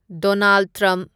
Donald Trump